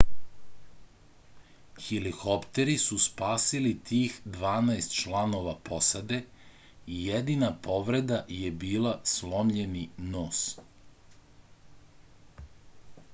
helikopteri su spasili tih dvanaest članova posade i jedina povreda je bila slomljeni nos